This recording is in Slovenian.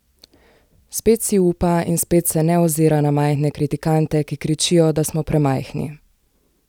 Spet si upa in spet se ne ozira na majhne kritikante, ki kričijo, da smo premajhni.